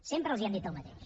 sempre els hem dit el mateix